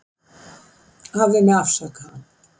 Hafðu mig afsakaðan